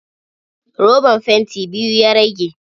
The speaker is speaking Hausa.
Roban fanti biyu ya rage.